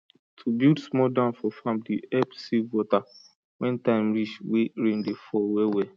to build small dam for farm dey help save water when time reach wey rain dey fall well well